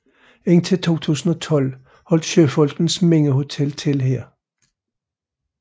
Indtil 2012 holdt Søfolkenes Mindehotel til her